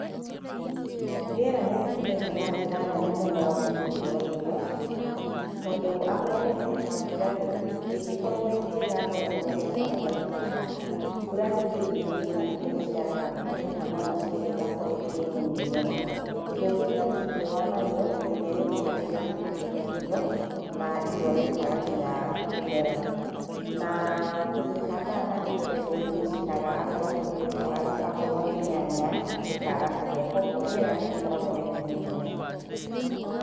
Rĩera nĩrĩhutagia na njĩra nene mũno ũmithio wa irio tondũ akorwo nĩ kĩndũ ta mbura-rĩ, ĩngĩkorwo ĩ njega noguo magetha maingĩhaga, mbura ningĩ ĩngĩnyiha irio nĩciagaga kũgĩa kana ona ningĩ ciagĩa nĩikoragwo irĩ nini mũno. Ũndũ ũngĩ nĩ atĩ rĩũwa narĩo rĩrĩa rĩaingĩha nĩrĩthũkangagia irio na imwe rĩmwe ikaga nginya kũmera. Na kĩndũ ta mbaa nakĩo nĩgĩcinaga akorwo nĩ kĩndũ ta waru akorwo nĩ nyanya ikaga kũgĩa koguo rĩera nĩrĩkoragwo na itemi inene.